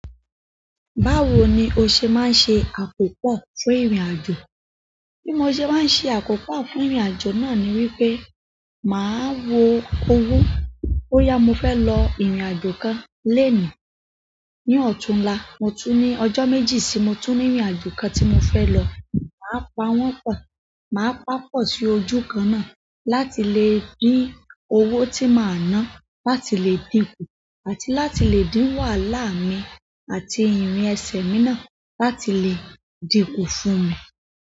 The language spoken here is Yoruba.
Báwo ni o ṣe máa ń ṣe àkópọ̀ fún ìrìnàjò? Bí mo ṣe máa ń ṣe àkópọ̀ fún ìrìnàjò náà ni wípé màá wo owó boyá mo fẹ́ lọ ìrìnàjò kan lenìí. Ní ọ̀túnla, mo tún ní ọjọ́ méjì sí mo tún ní ìrìnàjò kan tí mo fẹ́ lọ. Màá pa wọ́n pọ̀. Màá pa pọ̀ sí ojú kan náà láti lè din owó tí màá ná láti lè dín kù àti láti lè dín wàhálà mi àti ìrìn ẹsẹ̀ mi náà láti lè dín kù fún mi.